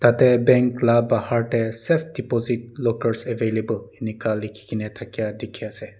te bank la bahar de safe deposit lockers available enika liki kina dakai diki ase.